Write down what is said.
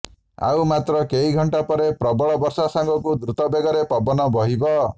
ଆଉ ମାତ୍ର କେଇ ଘଣ୍ଟା ପରେ ପ୍ରବଳ ବର୍ଷା ସାଙ୍ଗକୁ ଦ୍ରୁତ ବେଗରେ ପବନ ବହିବ